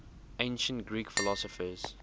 ancient greek philosophers